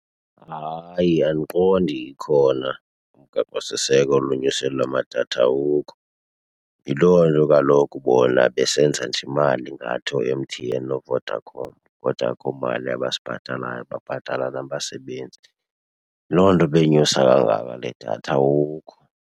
Hayi, andiqondi ikhona umgaqosiseko olonyusela amadatha, awukho. Yiloo nto kaloku bona besenza nje imali ngathi oo-M_T_N nooVodacom kodwa akho mali abasibhatalayo, babhatala nabasebenzi. Yiloo nto beyinyusa kangaka le datha, awukho.